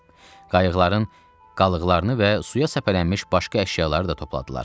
Qayıqların qalıqlarını və suya səpələnmiş başqa əşyaları da topladılar.